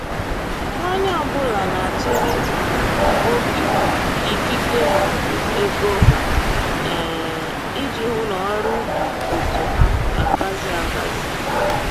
Onye ọbụla na-atụnye um oge, ikike maọbụ ego um iji hụ n'ọrụ ubi otu ha ga-agazi agazi